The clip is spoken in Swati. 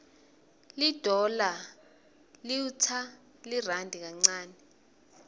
lidollar liwtsa lirandi kancane